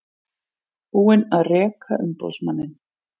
Búin að reka umboðsmanninn